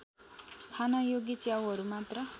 खानयोग्य च्याउहरू मात्र